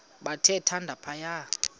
bathe thande phaya